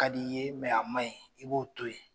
Ka d'i ye a ma ɲi i b'o to yen.